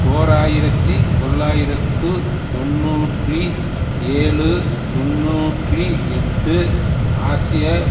ஓர் ஆயிரத்தி தொள்ளாயிரத்து தொன்னூற்றி ஏழு தொன்னூற்றி எட்டு ஆசிய